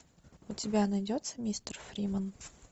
у тебя найдется мистер фримен